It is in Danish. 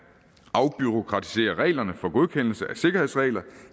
afbureaukratisere reglerne for godkendelse af sikkerhedsregler